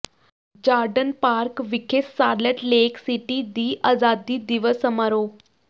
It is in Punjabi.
ਜਾਰਡਨ ਪਾਰਕ ਵਿਖੇ ਸਾਲਟ ਲੇਕ ਸਿਟੀ ਦੀ ਆਜ਼ਾਦੀ ਦਿਵਸ ਸਮਾਰੋਹ